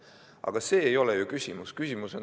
Aga selles ei ole ju küsimus!